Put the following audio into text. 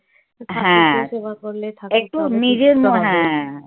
ঠাকুরকে সেবা করলে